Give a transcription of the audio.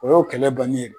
O y'o kɛlɛ bannen ye